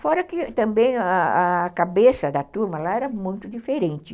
Fora que também a a cabeça da turma lá era muito diferente.